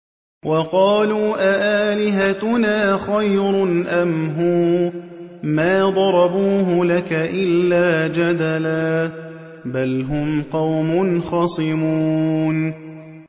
وَقَالُوا أَآلِهَتُنَا خَيْرٌ أَمْ هُوَ ۚ مَا ضَرَبُوهُ لَكَ إِلَّا جَدَلًا ۚ بَلْ هُمْ قَوْمٌ خَصِمُونَ